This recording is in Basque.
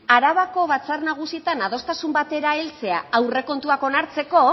arabako batzar nagusietan adostasun batera heltzea aurrekontuak onartzeko